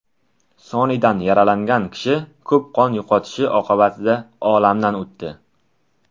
Sonidan yaralangan kishi ko‘p qon yo‘qotishi oqibatida olamdan o‘tdi.